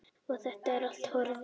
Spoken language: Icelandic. Og þetta er allt horfið.